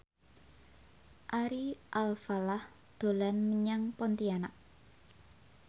Ari Alfalah dolan menyang Pontianak